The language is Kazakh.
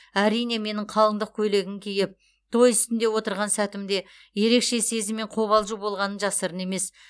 әрине менің қалыңдық көйлегін киіп той үстінде отырған сәтімде ерекше сезім мен қобалжу болғаны жасырын емес